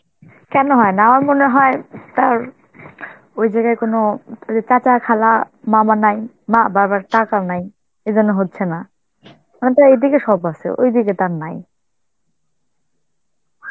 কেনো হয় না, আমার মনে হয় তার ওই জায়গায় কোনো অ ওই যে চাচা, খালা, মামা নাই, মা বাবার টাকাও নাই, এইজন্য হচ্ছে না. হয়তো এইদিকে সব আছে, ওইদিকে তার নাই.